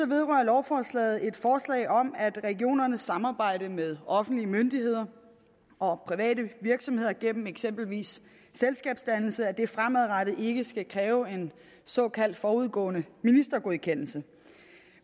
vedrører lovforslaget et forslag om at regionernes samarbejde med offentlige myndigheder og private virksomheder gennem eksempelvis selskabsdannelse fremadrettet ikke skal kræve en såkaldt forudgående ministergodkendelse